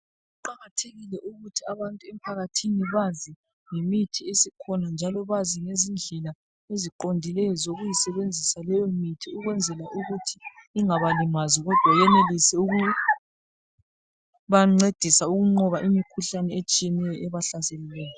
Kuqakathekile ukuthi abantu emphakathini bazi ngemithi esikhona njalo bazi lezindlela eziqondileyo zokuyi sebenzisa leyo mithi ukwenzela ukuthi ingabalimazi kodwa benelise ukubancedisa ukunqoba imikhuhlane etshiyeneyo ebahlaselileyo.